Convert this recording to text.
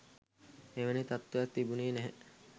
එවැනි තත්ත්වයක් තිබුණෙ නැහැ